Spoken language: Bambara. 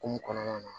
Hokumu kɔnɔna na